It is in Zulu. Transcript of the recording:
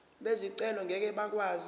bezicelo ngeke bakwazi